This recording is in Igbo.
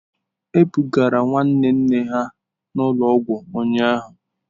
E bugara nwa nwanne ha ụlọ ọgwụ ụnyahụ.